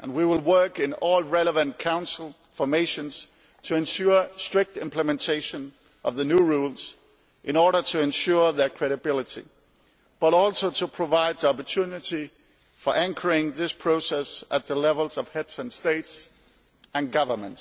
and we will work in all relevant Council formations to ensure strict implementation of the new rules in order to ensure their credibility, but also to provide opportunity for anchoring this process at the level of Heads of State and Government.